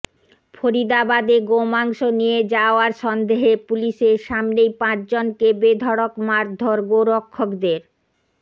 ফরিদাবাদে গোমাংস নিয়ে যাওয়ার সন্দেহে পুলিশের সামনেই পাঁচজনকে বেধড়ক মারধর গোরক্ষকদের